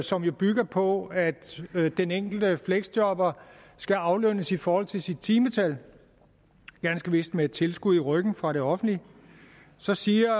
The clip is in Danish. som jo bygger på at den enkelte fleksjobber skal aflønnes i forhold til sit timetal ganske vist med et tilskud i ryggen fra det offentlige og så siger